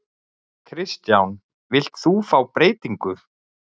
Kristján: Þú vilt fá breytingu?